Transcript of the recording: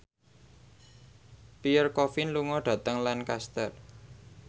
Pierre Coffin lunga dhateng Lancaster